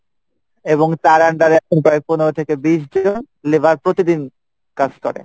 এবং তার under এ প্রায় পনেরো থেকে বিশ জন labor প্রতিদিন কাজ করে।